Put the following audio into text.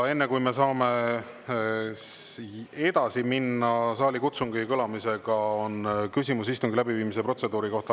Enne kui me saame edasi minna ja lasta saalikutsungil kõlada, on küsimus istungi läbiviimise protseduuri kohta.